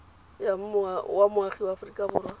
wa moagi wa aforika borwa